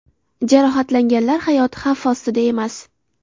Jarohatlanganlar hayoti xavf ostida emas.